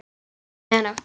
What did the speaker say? Um miðja nótt.